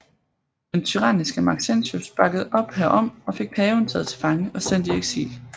Den tyranniske Maxentius bakkede op herom og fik paven taget til fange og sendt i eksil